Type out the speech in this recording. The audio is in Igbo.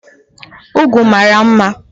Ugwu mara mma